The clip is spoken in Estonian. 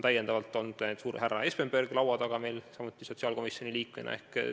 Ja näiteks härra Espenberg on sotsiaalkomisjoni liikmena samuti laua taga olnud.